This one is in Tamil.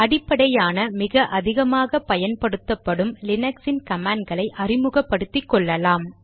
அடிப்படையான மிக அதிகமாக பயன்படுத்தப்படும் லீனக்ஸின் கமாண்ட் களை அறிமுகப்படுத்திக்கொள்ளலாம்